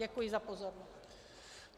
Děkuji za pozornost.